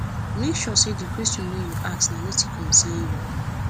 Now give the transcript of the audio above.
make sure say di question wey you ask na wetin concern you